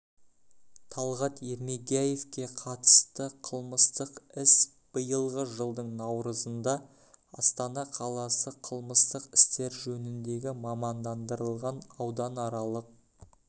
талғат ермегияевке қатысты қылмыстық іс биылғы жылдың наурызында астана қаласы қылмыстық істер жөніндегі мамандандырылған ауданаралық